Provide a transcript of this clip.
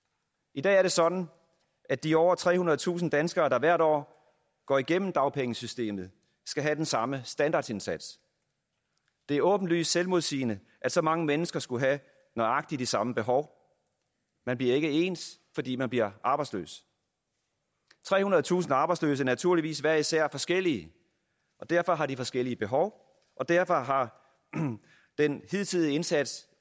i dag er det sådan at de over trehundredetusind danskere der hvert år går igennem dagpengesystemet skal have den samme standardindsats det er åbenlyst selvmodsigende at så mange mennesker skulle have nøjagtig de samme behov man bliver ikke ens fordi man bliver arbejdsløs trehundredetusind arbejdsløse er naturligvis hver især forskellige og derfor har de forskellige behov og derfor har den hidtidige indsats